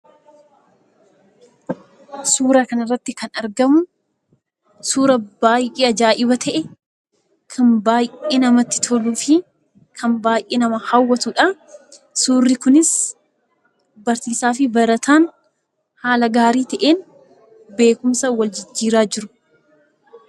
Suuraa kanarratti kan argamu suuraa baay'ee ajaa'iba ta'e kan baay'ee namatti toluu fi kan baay'ee nama hawwatudha. Suurri kunis barsiisaa fi barataan haala gaarii ta'een beekumsa wal jijjiiraa jiru.